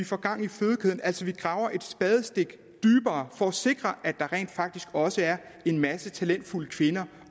får gang i fødekæden altså vi graver et spadestik dybere for at sikre at der rent faktisk også er en masse talentfulde kvinder